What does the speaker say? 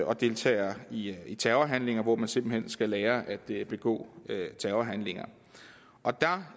og deltager i i terrorhandlinger hvor man simpelt hen skal lære at begå terrorhandlinger der